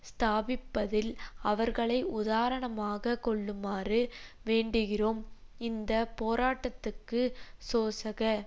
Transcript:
ஸ்தாபிப்பதில் அவர்களை உதாரணமாக கொள்ளுமாறும் வேண்டுகிறோம் இந்த போராட்டத்துக்கு சோசக